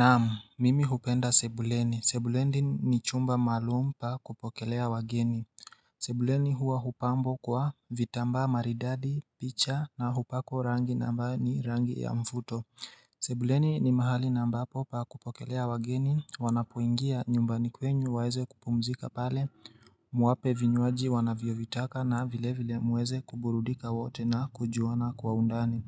Naam mimi hupenda sebuleni, sebuleni ni chumba maalum pa kupokelea wageni Sebuleni huwa hupambwa kwa vitamba maridadi, picha na hupakwa rangi ambayo ni rangi ya mvuto Sebuleni ni mahali na ambapo pa kupokelea wageni wanapoingia nyumbani kwenu waweze kupumzika pale Muwapee vinywaji wanavyovitaka na vile vile muweze kuburudika wote na kujuana kwa undani